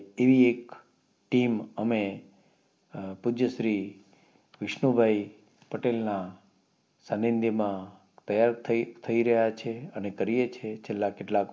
team અમે અ પૂજ્ય શ્રી વિષ્ણુભાઈ પટેલ ના સાનિધ્ય માં થઇ રહીએ છીએ અને કરીયે છીએ છેલા કેટલાક